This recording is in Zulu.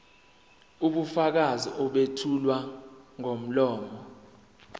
ubufakazi obethulwa ngomlomo